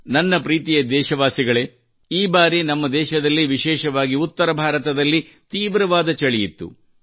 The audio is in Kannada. ನನ್ನ ಪ್ರೀತಿಯ ದೇಶವಾಸಿಗಳೇ ಈ ಬಾರಿ ನಮ್ಮ ದೇಶದಲ್ಲಿ ವಿಶೇಷವಾಗಿ ಉತ್ತರ ಭಾರದಲ್ಲಿ ತೀವ್ರವಾದ ಚಳಿಯಿತ್ತು